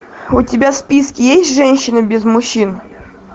у тебя в списке есть женщина без мужчин